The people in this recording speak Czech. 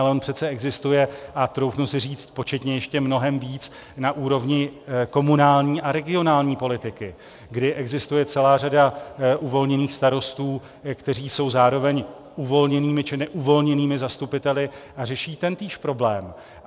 Ale on přece existuje, a troufnu si říct, početně ještě mnohem víc, na úrovni komunální a regionální politiky, kdy existuje celá řada uvolněných starostů, kteří jsou zároveň uvolněnými či neuvolněnými zastupiteli a řeší tentýž problém.